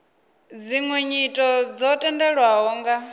dziṅwe nyito dzo tendelwaho nga